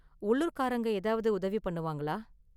உள்ளூர் காரங்க ஏதாவது உதவி பண்ணுவாங்களா?